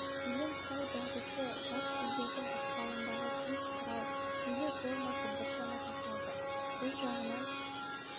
сөйлем құрау дағдысы жат тілдердің ықпалындағы сөз құрау сөйлем ойлау формасы біршама сақталды бұл жағынан